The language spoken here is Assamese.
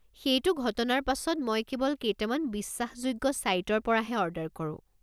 সেইটো ঘটনাৰ পাছত মই কেৱল কেইটামান বিশ্বাসযোগ্য ছাইটৰ পৰাহে অৰ্ডাৰ কৰো।